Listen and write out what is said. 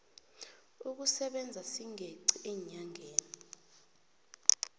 sokusebenza singeqi eenyangeni